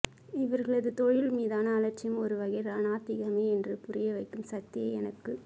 இவர்களது தொழில் மீதான அலட்சியம் ஒரு வகை நாத்திகமே என்று புரிய வைக்கும் சக்தியை எனக்குத்